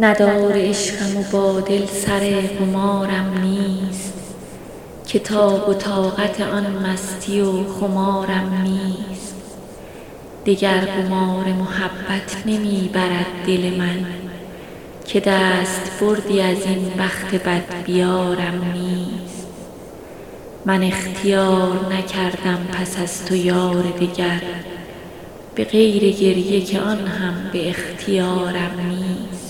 ندار عشقم و با دل سر قمارم نیست که تاب و طاقت آن مستی و خمارم نیست دگر قمار محبت نمی برد دل من که دست بردی از این بخت بدبیارم نیست حساب جاری من گو ببند باجه بانک که من به بودجه عمر اعتبارم نیست من اختیار نکردم پس از تو یار دگر به غیر گریه که آن هم به اختیارم نیست